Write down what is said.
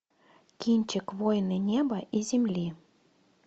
кинчик воины неба и земли